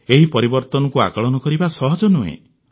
ଏହି ପରିବର୍ତ୍ତନକୁ ଆକଳନ କରିବା ସହଜ ନୁହେଁ